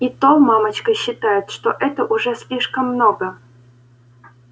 и та мамочка считает что это уже слишком много